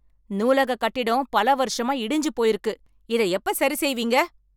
நூலக கட்டிடம் பல வருசமா இடிஞ்சு போயிருக்கு. இத எப்ப சரி செய்வீங்க.